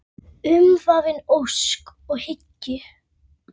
Umvafin ósk og hyggju.